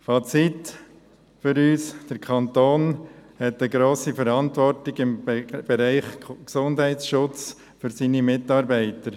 Fazit unsererseits: Der Kanton hat im Bereich des Gesundheitsschutzes eine grosse Verantwortung für seine Mitarbeiter.